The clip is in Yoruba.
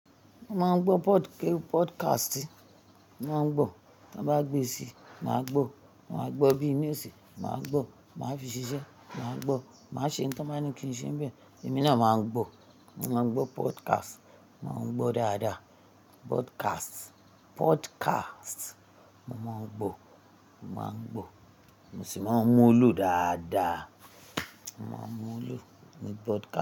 Mo máa ń gbọ́ podcast. Mo máa ń gbọ́, tan bá gbe síi, mà á gbọ́. Mo máa gbọ́ newsi, mà á gbọ́. Máa fi ṣiṣẹ́, mà á gbọ́. Mà ṣe nǹkan tán ba ni kí n ṣe ń bẹ̀, èmi náà máa ń gbọ́. Mo máa ń gbọ́ podcast. Mo máa ń gbọ́ dáadáa. Podcast, podcast. Mo máa ń gbọ́. Mo máa ń gbọ́. Mo sì máa ń mú un lò dáadáa. Mo máa ń mú un lò ní podcast.